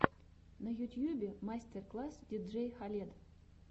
на ютьюбе мастер класс диджей халед